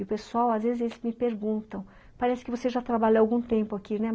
E o pessoal, às vezes, eles me perguntam, ''parece que você já trabalhou há algum tempo aqui, né?''